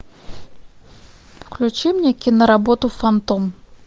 включи мне киноработу фантом